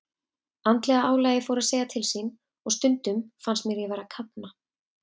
Andlega álagið fór að segja til sín og stundum fannst mér ég vera að kafna.